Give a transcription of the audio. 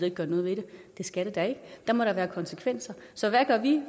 at gøre noget ved det det skal det da ikke der må da være konsekvenser så hvad gør vi